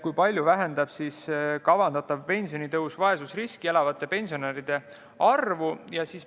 Kui palju vähendab kavandatav pensionitõus vaesusriskis elavate pensionäride arvu?